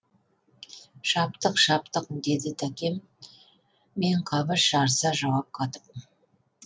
шаптық шаптық деді тәкен мен қабыш жарыса жауап қатып